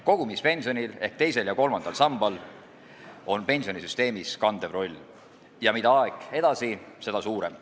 Kogumispensionil ehk teisel ja kolmandal sambal on pensionisüsteemis kandev roll, ja mida aeg edasi, seda suurem.